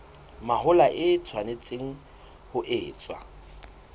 mahola e tshwanetse ho etswa